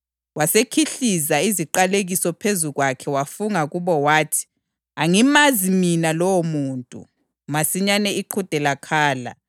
Wasekhihliza iziqalekiso phezu kwakhe wafunga kubo wathi, “Angimazi mina lowomuntu!” Masinyane iqhude lakhala.